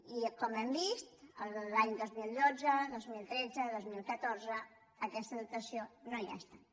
i com hem vist els anys dos mil dotze dos mil tretze dos mil catorze aquesta dotació no hi ha estat